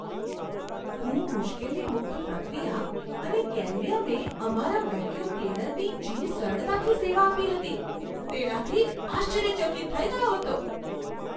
હું મુશ્કેલી મુક્ત પ્રક્રિયા અને કેમ્બિયમે અમારા વેક્યૂમ ક્લીનરની જે સરળતાથી સેવા આપી હતી તેનાથી આશ્ચર્યચકિત થઈ ગયો હતો.